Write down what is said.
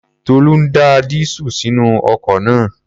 Tolú ń da dísúùlù sínú ọkọ̀ náà